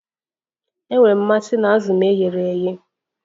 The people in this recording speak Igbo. Enwere m mmasị na azụ m e ghere eghe